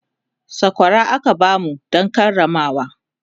sakwara aka bamu Dan Karamawa